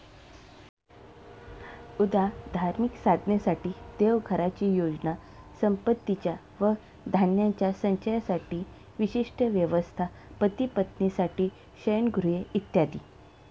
उदा., धार्मिक साधनेसाठी देवघराची योजना, संपत्तीच्या व धान्याच्या संचयासाठी विशिष्ट व्यवस्था, पतिपत्नींसाठी शयनगृहे, इत्यादी.